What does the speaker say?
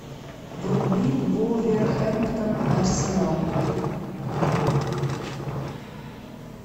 вруби вулверхэмптон арсенал